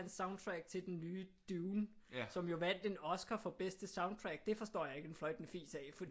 Hans soundtrack til den nye Dune som jo vandt en oscar for bedste soundtrack det forstår jeg ikke en fløjtende fis af fordi